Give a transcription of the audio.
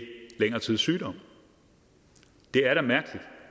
længere tids sygdom det er da mærkeligt